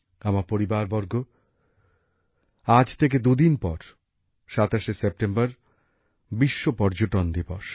আমার পরিবারবর্গ আজ থেকে দুদিন পর ২৭সে সেপ্টেম্বর বিশ্ব পর্যটন দিবস